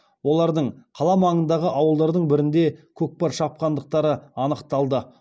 олардың қала маңындағы ауылдардың бірінде көкпар шапқандықтары анықталды